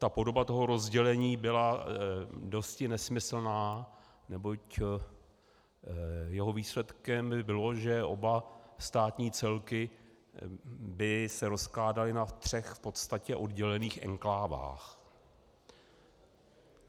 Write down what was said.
Ta podoba toho rozdělení byla dosti nesmyslná, neboť jeho výsledkem by bylo, že oba státní celky by se rozkládaly na třech v podstatě oddělených enklávách.